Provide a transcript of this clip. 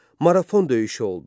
Marafon döyüşü oldu.